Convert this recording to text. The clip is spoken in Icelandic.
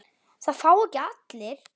Það fá ekki allir.